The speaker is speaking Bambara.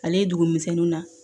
Ale ye dugumisɛnnin na